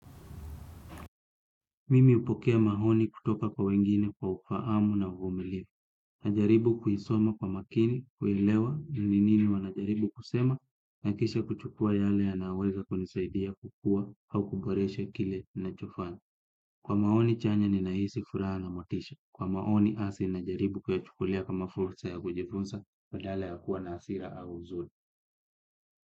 Mimi upokea mahoni kutoka kwa wengine kwa ufaamu na uvumilifu. Najaribu kuisoma kwa makini, kuelewa, nini nini wanajaribu kusema, nakisha kuchukua yale yanaweza kunisaidia kukua au kuboreshe kile nacho fanya. Kwa maoni chanya ninahisi furaha na motisha. Kwa maoni asi najaribu kuyachukulia kama fursa ya kujifunsa padala ya kuwa na asira au huzuni.